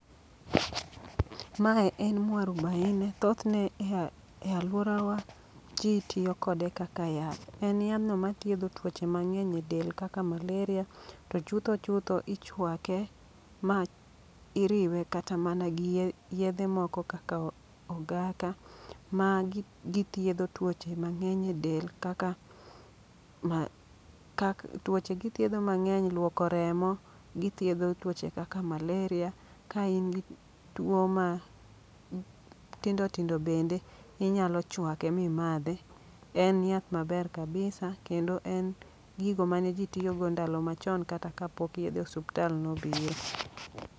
Mae en mwarubaine, thothne e alworawa ji tiyo kode kaka yath. En yadhno ma thiedho tuoche mang'eny e del kaka maleria, to chutho chutho ichwake. Ma iriwe kata mana gi yedhe moko kaka o ogaka. Ma gi githiedho tuoche mang'eny e del kaka ma, kak. Tuoche githiedho mang'eny, luoko remo, githiedho tuoche kaka maleria. Ka in gi tuo ma tindo tindo bende, inyalo chwake mi madhe. En yath maber kabisa kendo en gigo mane ji tiyogo ndalo machon kata ka pok yedhe osuptal nobiro.